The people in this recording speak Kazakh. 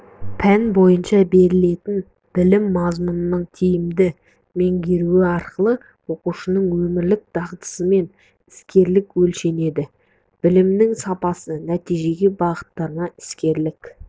пән бойынша берілетін білім мазмұнының тиімді меңгеруі арқылы оқушының өмірлік дағдысымен іскерлігі өлшенеді білімнің сапасы нәтижеге бағытталады іскерлік